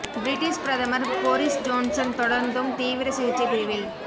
British பிரதமர் Boris Johnson தொடர்ந்தும் தீவிர சிகிச்சைப் பிரிவில்